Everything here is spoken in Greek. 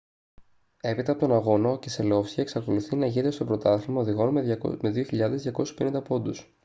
έπειτα από τον αγώνα ο κεσελόφσκι εξακολουθεί να ηγείται στο πρωτάθλημα οδηγών με 2.250 πόντους